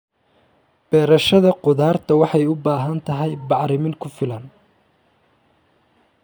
Beerashada khudaarta waxay u baahan tahay bacrimin ku filan.